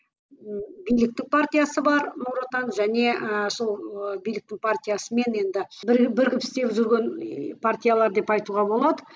биліктің партиясы бар нұр отан және і сол ы биліктің партиясымен енді бірігіп бірігіп істеп жүрген партиялар деп айтуға болады